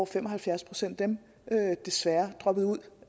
fem og halvfjerds procent af dem desværre droppede ud